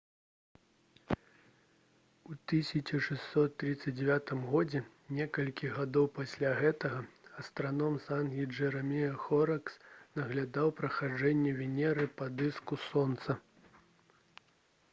у 1639 г некалькі гадоў пасля гэтага астраном з англіі джэрэмая хоракс наглядаў праходжанне венеры па дыску сонца